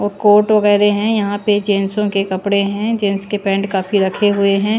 और कोट वगैरह हैं यहां पे जेंटसो के कपड़े हैं जेंट्स के पेंट काफी रखे हुए हैं।